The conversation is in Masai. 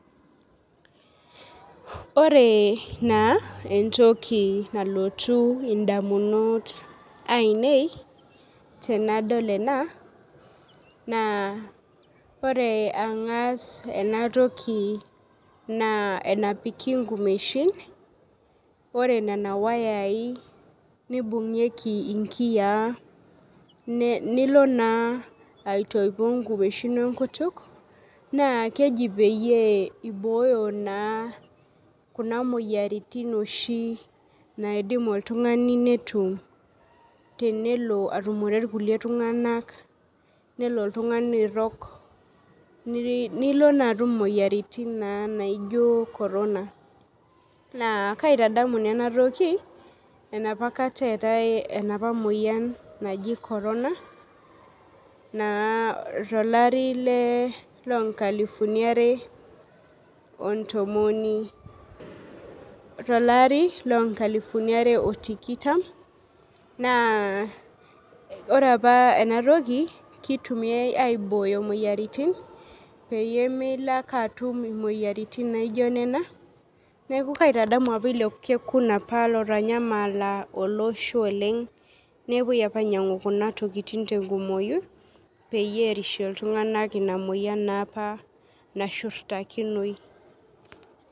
Ore na entoki nalotu ndamunot ainei tanadol ena na ore angas enatoki na enapili nkumeshi ore nona wayai nibungieki nkiyaa niko na aitoipo nkumeshin we nkutuk na kejibpeyie ibooyo ja kuna moyiaritin naidim oltungani netum tenelo aboitare irkulie tunganak nelo airog nilo na atum moyiaritin naijo korna na kaitadamu enatoki enapaka eetae enapaa moyian naji coronana tolari le lonkalifuni are otikitam na ore apa enatoki kitumiai aibooyo moyiaritin pemilo ake atumbimoyiaritin naijo nena neaku kaitadamu apa ilo kekun lotanyamal olosho oleng nepuoi ainyangu tenkumoi peyienerishie ltunganak enamoyia nashurtakinoi